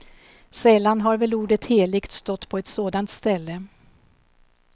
Sällan har väl ordet helig stått på ett sådant ställe.